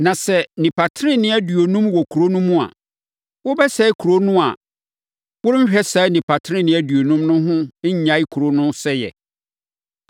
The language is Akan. Na sɛ nnipa tenenee aduonum wɔ kuro no mu a wobɛsɛe kuro no a worenhwɛ saa nnipa tenenee aduonum no ho nnyae kuro no sɛeɛ?